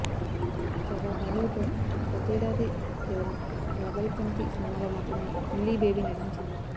కాగా బాలీవుడ్లో గతేడాది కేవలం పాగల్పంతి సినిమాలో మాత్రమే ఇల్లీ బేబి నటించింది